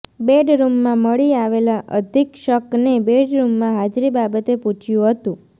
બેડરૂમમાં મળી આવેલા અધિક્ષકને બેડરૂમમાં હાજરી બાબતે પૂછ્યું હતું